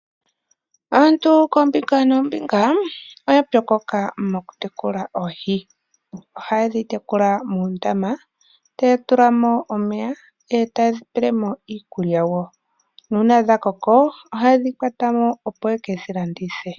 Aantu koombinga noombinga oyapyokoka mokutekula oohi . Ohayedhi tekula muundama taya tula mo omeya etayedhi pelemo iikulya wo, uuna dhakoko ohayedhi kwata mo opo yekedhilandithe.